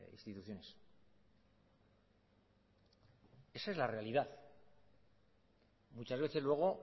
instituciones esa es la realidad muchas veces luego